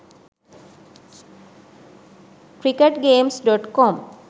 cricket games.com